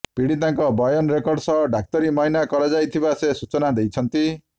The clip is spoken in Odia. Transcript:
ପୀଡିତାଙ୍କ ବୟାନ ରେକର୍ଡ ସହ ଡାକ୍ତରୀ ମାଇନା କରାଯାଇଥିବା ସେ ସୂଚନା ଦେଇଛନ୍ତି